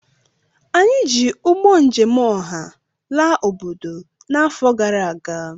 Anyị ji ụgbọ njem ọha laa obodo n'afọ gara aga